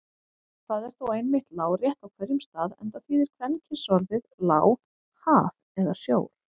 Það er þó einmitt lárétt á hverjum stað enda þýðir kvenkynsorðið lá haf eða sjór.